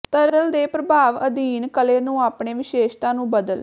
ਤਰਲ ਦੇ ਪ੍ਰਭਾਵ ਅਧੀਨ ਕਲੇ ਨੂੰ ਆਪਣੇ ਵਿਸ਼ੇਸ਼ਤਾ ਨੂੰ ਬਦਲ